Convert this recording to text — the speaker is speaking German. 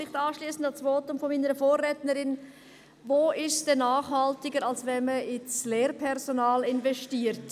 Vielleicht anschliessend an das Votum meiner Vorrednerin: Wo ist es denn nachhaltiger, als wenn man in das Lehrpersonal investiert?